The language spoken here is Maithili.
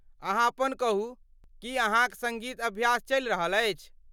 अहाँ अपन कहू, की अहाँक सङ्गीत अभ्यास चलि रहल अछि?